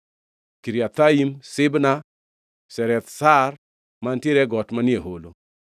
Kiriathaim, Sibma, Zereth Shahar mantiere e got manie holo,